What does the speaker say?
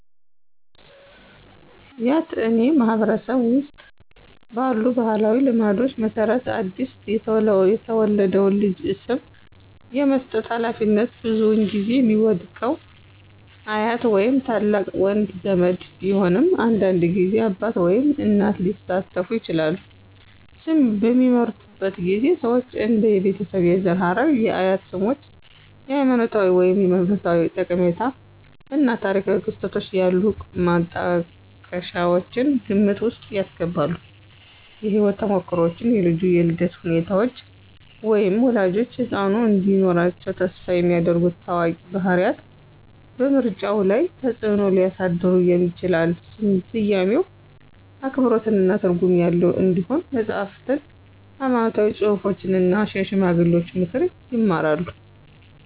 ያትአኔ ማህበረሰብ ውስጥ ባሉ ባህላዊ ልማዶች መሰረት አዲስ የተወለደውን ልጅ ስም የመስጠት ሃላፊነት ብዙውን ጊዜ የሚወድቀው አያት ወይም ታላቅ ወንድ ዘመድ ቢሆንም አንዳንድ ጊዜ አባት ወይም እናት ሊሳተፉ ይችላሉ። ስም በሚመርጡበት ጊዜ ሰዎች እንደ የቤተሰብ የዘር ሐረግ፣ የአያት ስሞች፣ ሃይማኖታዊ ወይም መንፈሳዊ ጠቀሜታ እና ታሪካዊ ክስተቶች ያሉ ማጣቀሻዎችን ግምት ውስጥ ያስገባሉ። የህይወት ተሞክሮዎች, የልጁ የልደት ሁኔታዎች, ወይም ወላጆች ህጻኑ እንዲኖራቸው ተስፋ የሚያደርጉ ታዋቂ ባህሪያት በምርጫው ላይ ተጽእኖ ሊያሳድሩ ይችላሉ. ስያሜው አክብሮትና ትርጉም ያለው እንዲሆን መጽሐፍትን፣ ሃይማኖታዊ ጽሑፎችን እና የሽማግሌዎችን ምክር ይማራሉ።